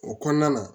O kɔnɔna na